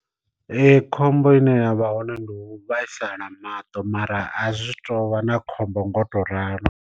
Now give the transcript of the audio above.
khombo ine yavha hone ndi u vhaisala maṱo mara a zwi tou vha na khombo nga u to ralo.